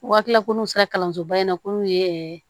Waati la ko n'u sera kalansoba in na ko n'u ye ɛɛ